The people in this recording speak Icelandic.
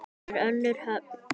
Þar er önnur höfn.